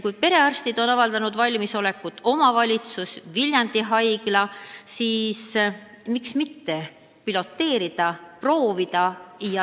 Kui perearstid on avaldanud valmisolekut, samuti omavalitsus ja Viljandi Haigla, siis miks mitte piloteerida, proovida.